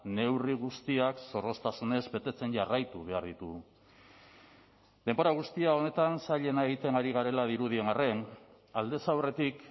neurri guztiak zorroztasunez betetzen jarraitu behar ditugu denbora guztia honetan zailena egiten ari garela dirudien arren aldez aurretik